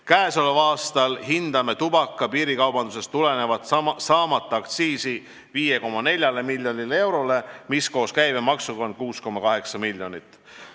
Käesoleval aastal hindame tubaka piirikaubandusest tulenevat saamata aktsiisi 5,4 miljonile eurole, koos käibemaksuga on seda 6,8 miljonit.